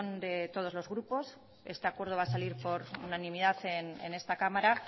de todos los grupos este acuerdo va a salir por unanimidad en esta cámara